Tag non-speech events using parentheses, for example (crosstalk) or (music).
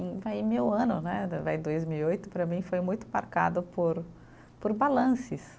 (unintelligible) meu ano né, vai dois mil e oito, para mim foi muito marcado por, por balances.